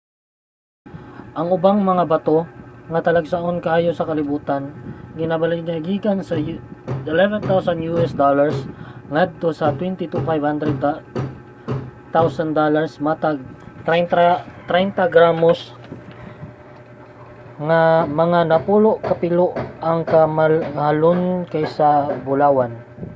ang ubang mga bato nga talagsaon kaayo sa kalibutan ginabaligya gikan sa us$11,000 ngadto sa us$22,500 matag 30 gramos mga napulo kapilo ang kamahalon kaysa sa bulawan